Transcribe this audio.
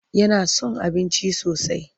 Yana son abinci sosai.